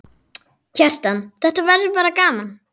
Kjartan: Þetta verður bara gaman?